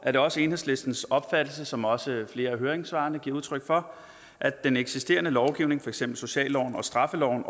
er det også enhedslistens opfattelse som også flere af høringssvarene giver udtryk for at den eksisterende lovgivning for eksempel socialloven og straffeloven